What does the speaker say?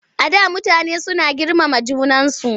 Before people were so respectful of one another.